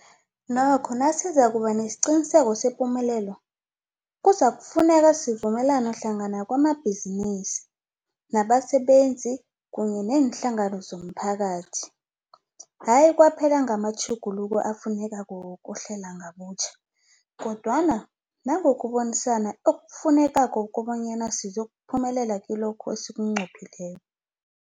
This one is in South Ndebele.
Nokho nasizakuba nesiqiniseko sepumelelo, kuzakufuneka sivumelane hlangana kwamabhizinisi, nabasebenzi kunye neenhlangano zomphakathi, hayi kwaphela ngamatjhuguluko afunekako wokuhlela ngobutjha, kodwana nangokubonisana okufunekako kobanyana sizokuphumelela kilokho esikunqophileko.